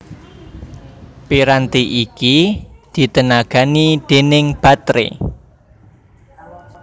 Piranti iki ditenagani déning bateré